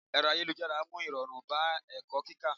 Ẹ̀rọ ayélujára mú irọrun bá ẹ̀kọ́ kíkó.